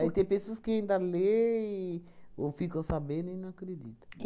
Aí tem pessoas que ainda leem ou ficam sabendo e não acreditam.